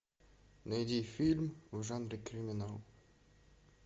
найди фильм в жанре криминал